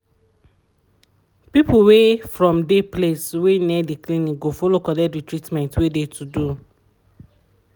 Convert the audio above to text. people wey from de place wey near de clinic go follow collect de treatment wey de to do.